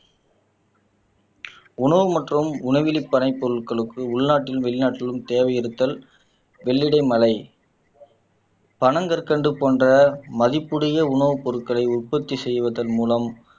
உணவு மற்றும் உணவிலி பனை பொருட்களுக்கு உள்நாட்டில் வெளிநாட்டிலும் தேவை இருத்தல் வெள்ளிடை மழை பனங்கற்கண்டு போன்ற மதிப்புடைய உணவுப் பொருட்களை உற்பத்தி செய்வதன் மூலம்